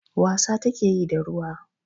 Wasa take yi da ruwa.